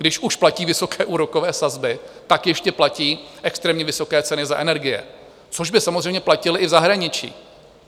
Když už platí vysoké úrokové sazby, tak ještě platí extrémně vysoké ceny za energie, což by samozřejmě platily i v zahraničí.